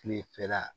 Kilefɛla